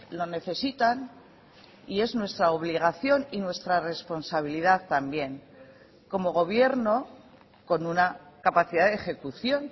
lo necesitan y es nuestra obligación y nuestra responsabilidad también como gobierno con una capacidad de ejecución